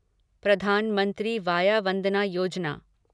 Pradhan Mantri Vaya Vandana Yojana